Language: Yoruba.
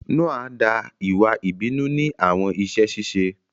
Noa da iwa ibinu ni awọn iṣẹ ṣiṣe